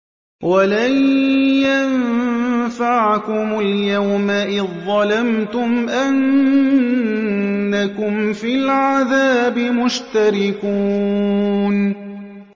وَلَن يَنفَعَكُمُ الْيَوْمَ إِذ ظَّلَمْتُمْ أَنَّكُمْ فِي الْعَذَابِ مُشْتَرِكُونَ